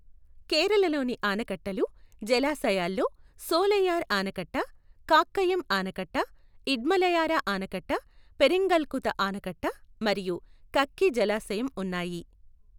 కేరళలోని ఆనకట్టలు, జలాశయాల్లో సోలైయార్ ఆనకట్ట, కాక్కయం ఆనకట్ట, ఇడ్మలయార ఆనకట్ట, పెరింగల్కుత ఆనకట్ట మరియు కక్కి జలాశయం ఉన్నాయి.